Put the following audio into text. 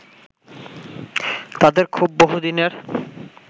তাদের ক্ষোভ বহুদিনের